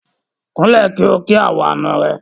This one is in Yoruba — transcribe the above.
Kúnlẹ̀ kí o kí àwọn àna rẹ.